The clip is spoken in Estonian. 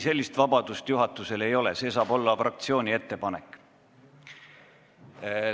Ei, sellist vabadust juhatusel ei ole, see saab olla ainult fraktsiooni ettepanek.